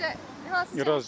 Necə, hansı cəhətdən razısınız?